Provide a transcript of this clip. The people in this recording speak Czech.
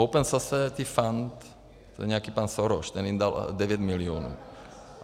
Open Society Fund, to je nějaký pan Soros, ten jim dal 9 milionů.